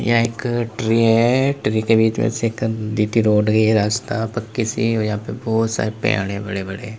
एक ट्री है ट्री के बीच में से एक जी_टी रोड गई रास्ता पकि सी और यहां पर बहोत सारे पेड़ है बड़े बड़े।